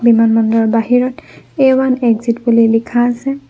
বিমাবন্দৰৰ বাহিৰত A one exit বুলি লিখা আছে।